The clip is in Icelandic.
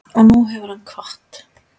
Og nú hefur hann kvatt.